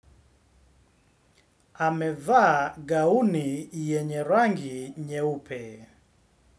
Amevaa gauni yenye rangi nyeupe.